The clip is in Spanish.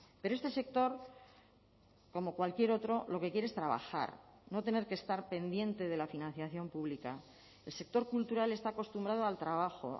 pero este sector como cualquier otro lo que quiere es trabajar no tener que estar pendiente de la financiación pública el sector cultural está acostumbrado al trabajo